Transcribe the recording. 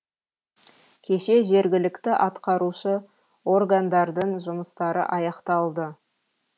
кеше жергілікті атқарушы органдардың жұмыстары аяқталды